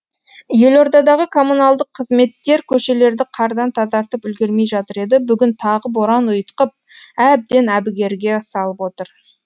елордадағы коммуналдық қызметтер көшелерді қардан тазартып үлгермей жатыр еді бүгін тағы боран ұйытқып әбден әбігерге салып отыр